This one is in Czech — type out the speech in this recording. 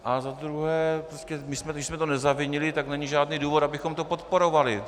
A za druhé, když jsme to nezavinili, tak není žádný důvod, abychom to podporovali.